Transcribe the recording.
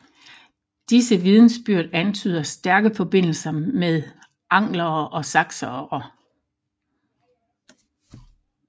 Disse vidnesbyrd antyder stærke forbindelser med anglere og saksere